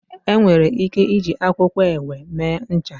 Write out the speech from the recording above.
Enwere ike iji akwụkwọ ewe mee ncha.